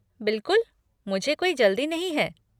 बिलकुल, मुझे कोई जल्दी नहीं है।